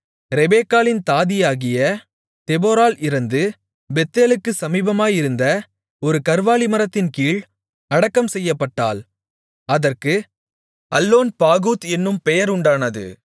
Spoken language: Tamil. ரெபெக்காளின் தாதியாகிய தெபொராள் இறந்து பெத்தேலுக்குச் சமீபமாயிருந்த ஒரு கர்வாலி மரத்தின்கீழ் அடக்கம் செய்யப்பட்டாள் அதற்கு அல்லோன்பாகூத் என்னும் பெயர் உண்டானது